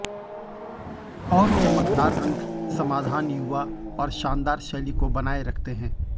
और चमकदार रंग समाधान युवा और शानदार शैली को बनाए रखते हैं